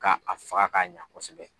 Ka a faga ka ɲa kosɛbɛ.